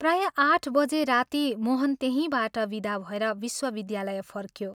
प्रायः आठ बजे राती मोहन त्यहींबाट विदा भएर विश्वविद्यालय फर्क्यों।